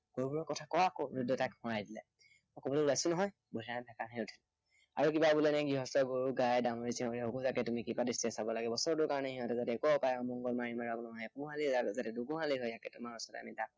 গৰুবোৰৰ কথা ক আক সৰুকণে তাক সোঁৱৰাই দিলে। মই কবলৈ ওলাইছো নহয়। বুদ্ধিৰামে ভেকাহি মাৰি উঠিল। আৰু কিবা বোলে এৰ গৃহস্থৰ গাই ডামুৰি চামুৰি তুমি সকলোতে যাতে কৃপা দৃষ্টিৰে চাব লাগে, বছৰটোৰ কাৰণে সিঁহতৰ যাতে একো অপায় অমংগল নহয়, এগোহালি হৈ আছে দুগোহালি হয় থাকে তোমাৰ ওচৰত তাকে